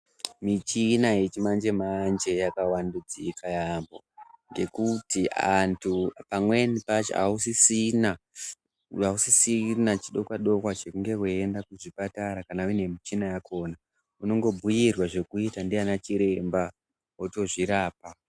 Michina yechimanje manje yavadudzika yaampho ngekuti antu pamweni pacho ausisina chidokwa dokwa chekunge weiende kuzvipatara kana uine michina yako, unongobhuyirwa zvekuita ndiana chiremba wotozvirapa.